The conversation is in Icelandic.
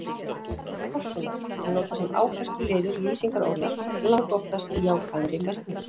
Eignarfallið forkunnar- er notað sem áhersluliður lýsingarorða, langoftast í jákvæðri merkingu.